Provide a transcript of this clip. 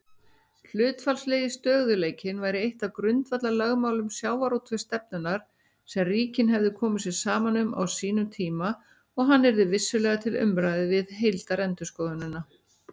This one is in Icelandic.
Hlutfallslegi stöðugleikinn væri eitt af grundvallarlögmálum sjávarútvegsstefnunnar sem ríkin hefðu komið sér saman um á sínum tíma og hann yrði vissulega til umræðu við heildarendurskoðunina.